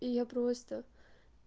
я просто